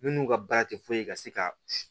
Minnu ka baara tɛ foyi ye ka se ka